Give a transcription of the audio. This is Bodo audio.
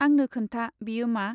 आंनो खोन्था बेयो मा?